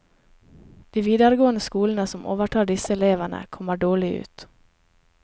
De videregående skolene som overtar disse elevene, kommer dårlig ut.